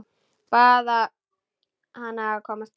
Bað hana að koma strax.